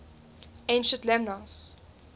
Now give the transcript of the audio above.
ancient lemnos